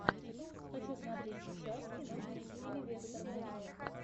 хочу смотреть сейчас киношку в стиле вестерна